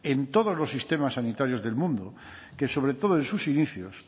en todos los sistemas sanitarios del mundo que sobre todo en sus inicios